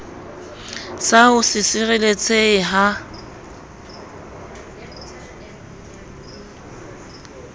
sa ho se sireletsehe ha